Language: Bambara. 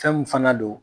Fɛn min fana don